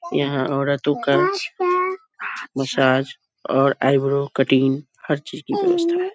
यहाँ औरतों का मसाज और आइब्रो कटिंग हर चीज़ की व्यवस्था है।